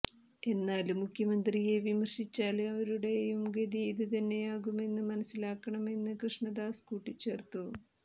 എന്നാല് മുഖ്യമന്ത്രിയെ വിമര്ശിച്ചാല് അവരുടേയും ഗതി ഇത് തന്നെയാകുമെന്ന് മനസിലാക്കണമെന്ന് കൃഷ്ണദാസ് കൂട്ടിച്ചേര്ത്തു